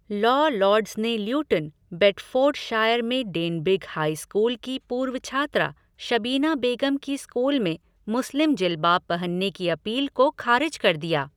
Law lords ने Luton, Bedfordshire में Denbigh high school की पूर्व छात्रा शबीना बेगम की स्कूल में मुस्लिम जिलबाब पहनने की अपील को खारिज कर दिया।